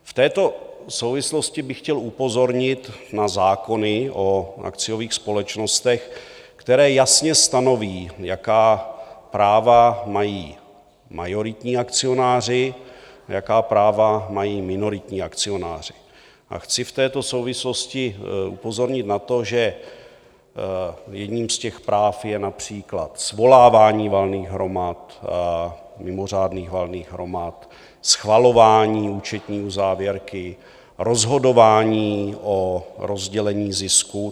V této souvislosti bych chtěl upozornit na zákony o akciových společnostech, které jasně stanoví, jaká práva mají majoritní akcionáři, jaká práva mají minoritní akcionáři, a chci v této souvislosti upozornit na to, že jedním z těch práv je například svolávání valných hromad, mimořádných valných hromad, schvalování účetní uzávěrky, rozhodování o rozdělení zisku.